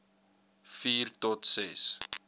vier tot ses